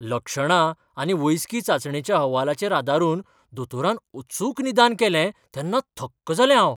लक्षणां आनी वैजकी चांचणेच्या अहवालाचेर आदारून दोतोरान अचूक निदान केलें तेन्ना थक्क जालें हांव!